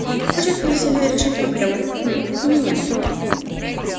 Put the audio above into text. он хочет видите ли решить проблему хм меня